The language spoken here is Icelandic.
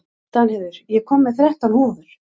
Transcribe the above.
Danheiður, ég kom með þrettán húfur!